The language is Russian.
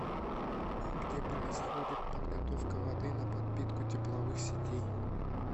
где происходит подготовка воды на подпитку тепловых сетей